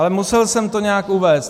Ale musel jsem to nějak uvést.